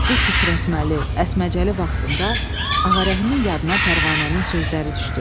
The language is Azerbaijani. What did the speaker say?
Bu titrətməli, əsməcəli vaxtında Ağarəhimin yadına Pərvanənin sözləri düşdü.